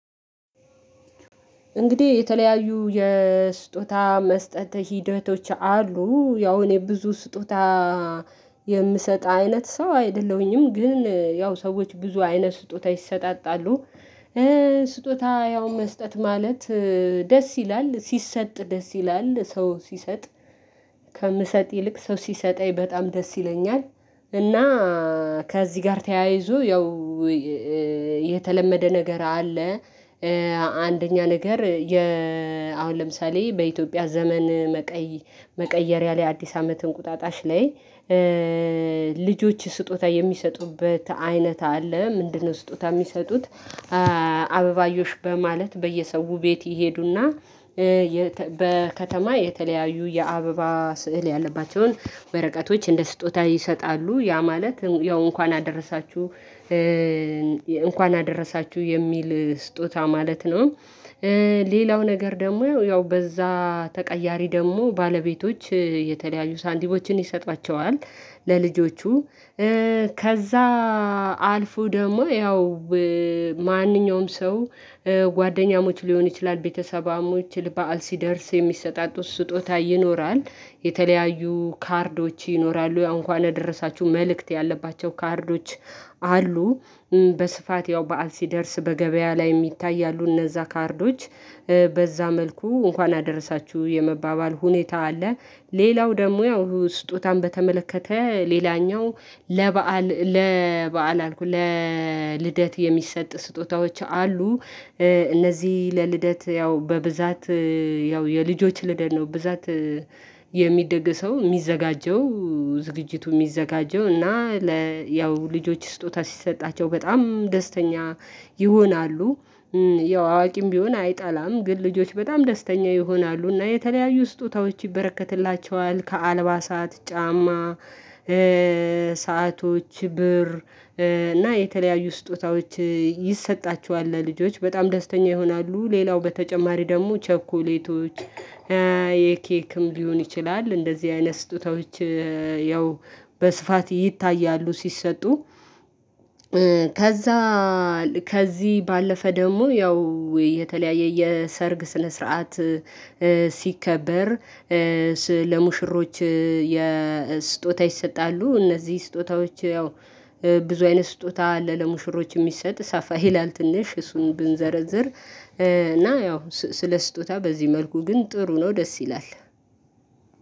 እንግዲህ የተለያዩ የስጦታ መስጠት ሂደቶች አሉ። ያው እኔ ብዙ ስጦታ የምሰጥ አይነት ሰው አይደለሁኝም። ግን ያው ሰዎች ብዙ አይነት ስጦታ ይሰጣጣሉ። ስጦታ ያው መስጠት ማለት ደስ ይላል ሲሰጥ ደስ ይላል ሰው ሲሰጥ ከምሰጥ ይልቅ ሰው ሲሰጠኝ በጣም ደስ ይለኛል። እና ከዚህ ጋር ተያይዞ ያው የተለመደ ነገር አለ። አንደኛ ነገር አሁን ለምሳሌ በኢትዮጵያ ዘመን መቀየሪያ ላይ አዲስ አመት እንቁጣጣሽ ላይ ልጆች ስጦታ የሚሰጡበት አይነት አለ። ምንድነው? ስጦታ የሚሰጡት አበባዮሽ በማለት በየሰው ቤት ይሄዱና በከተማ የተለያዩ የአበባ ስዕል ያለባቸውን በረቀቶች እንደ ስጦታ ይሰጣሉ። ያ ማለት ያው እንኳን አደረሳችሁ እንኳን አደረሳችሁ የሚል ስጦታ ማለት ነው። ሌላው ነገር ደግሞ ያው በዛ ተቀያሪ ደግሞ ባለቤቶች የተለያዩ ሳንቲሞችን ይሰጧቸዋል። ለልጆቹ ከዛ አልፎ ደግሞ ያው ማንኛውም ሰው ጓደኛሞች ሊሆን ይችላል ቤተሰባሞች ልብ አል ሲደርስ የሚሰጣጡት ስጦታ ይኖራል። የተለያዩ ካርዶች ይኖራሉ እንኳን የደረሳችሁ መልእክት ያለባቸው ካርዶች አሉ። በስፋት ያው በዓል ሲደርስ በገበያ ላይ ይታያሉ እነዛ ካርዶች በዛ መልኩ እንኳን አደረሳችሁ የመባባል ሁኔታ አለ። ሌላው ደግሞ ያው ስጦታን በተመለከተ ሌላኛው ለበአል ለበአል ለልደት የሚሰጥ ስጦታዎች አሉ። እነዚህ ለልደት ያው በብዛት ያው የልጆች ልደት ነው ብዛት የሚደግሰው የሚዘጋጀው ዝግጅቱ የሚዘጋጀው እና ለ ያው ልጆች ስጦታ ሲሰጣቸው በጣም ደስተኛ ይሆናሉ። ያው አዋቂም ቢሆን አይጠላም ግን ልጆች በጣም ደስተኛ ይሆናሉ እና የተለያዩ ስጦታዎች ይበረከትላቸዋል ከአልባሳት ጫማ። ሰአቶች ብር እና የተለያዩ ስጦታዎች ይሰጣቸዋል ለልጆች በጣም ደስተኛ ይሆናሉ። ሌላው በተጨማሪ ደግሞ ቸኮሌቶች የኬክም ሊሆን ይችላል። እንደዚህ አይነት ስጦታዎች ያው በስፋት ይታያሉ። ሲሰጡ ከዛ ከዚህ ባለፈ ደግሞ ያው የተለያየ የሰርግ ስነ ስርዓት ሲከበር ለሙሽሮች ስጦታ ይሰጣሉ። እነዚህ ስጦታዎች ያው ብዙ አይነት ስጦታ አለ ለሙሽሮች የሚሰጥ ሳፋ ይላል ትንሽ እሱን ብንዘረዝር። እና ያው ስለ ስጦታ በዚህ መልኩ ግን ጥሩ ነው ደስ ይላል።